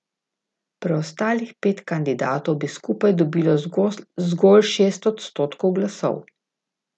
Preostalih pet kandidatov bi skupaj dobilo zgolj šest odstotkov glasov.